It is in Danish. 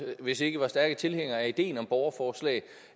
vist ikke var stærke tilhængere af ideen om borgerforslag